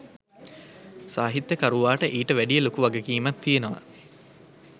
සාහිත්‍යකරුවාට ඊට වැඩිය ලොකු වගකීමක් තියෙනවා.